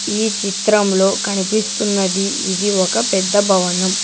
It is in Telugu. ఈ చిత్రంలో కనిపిస్తున్నది ఇది ఒక పెద్ద భవనం.